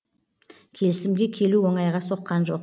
келісімге келу оңайға соққан жоқ